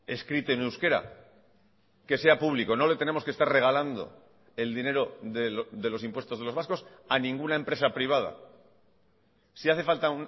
escrito en euskera que sea público no le tenemos que estar regalando el dinero de los impuestos de los vascos a ninguna empresa privada si hace falta